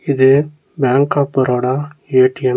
இது bank of Baroda A T M .